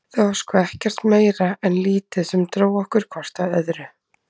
Það var sko ekkert meira en lítið sem dró okkur hvort að öðru.